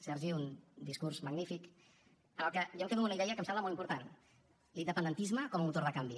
sergi un discurs magnífic en el que jo em quedo amb una idea que em sembla molt important l’independentisme com a motor de canvi